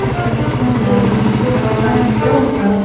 ఇక్కడ ట్రావలింగ్ అనేవాడు ఒక బైక్ లో ఒక.